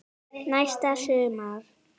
Næsta sumar.